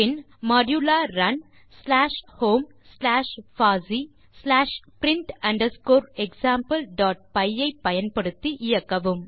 பின் மோடுலா run slash home slash பாசி slash print underscore exampleபை ஐ பயன்படுத்தி இயக்கவும்